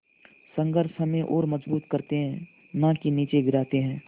संघर्ष हमें और मजबूत करते हैं नाकि निचे गिराते हैं